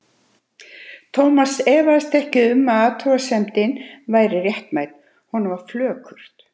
Thomas efaðist ekki um að athugasemdin væri réttmæt, honum var flökurt.